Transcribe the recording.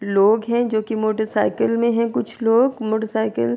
لوگ ہے جو کی موٹر سائیکل مے ہے۔ کچھ لوگ موٹر سائیکل --